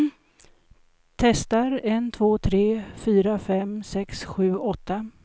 Testar en två tre fyra fem sex sju åtta.